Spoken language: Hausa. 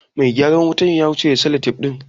Mai gyaran wutan ya wuce da salatef ɗin.